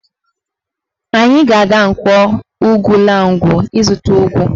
Anyị ga-aga Nkwọ Ugwulangwu ịzụta ụgụ